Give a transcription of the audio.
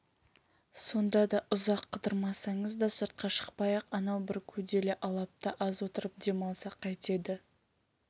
сонда да ұзақ қыдырмасаңыз да сыртқа шықпай-ақ анау бір көделі алапта аз отырып дем алсақ қайтеді